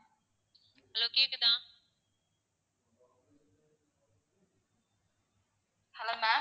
hello ma'am